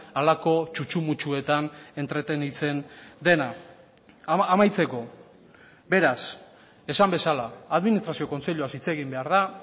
halako txutxu mutxuetan entretenitzen dena amaitzeko beraz esan bezala administrazio kontseiluaz hitz egin behar da